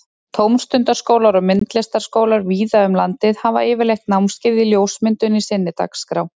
Tómstundaskólar og myndlistaskólar víða um landið hafa yfirleitt námskeið í ljósmyndun í sinni dagskrá.